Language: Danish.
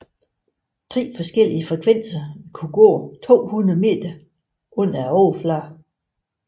Tre forskellige frekvenser vil kunne gå 200 meter under overfladen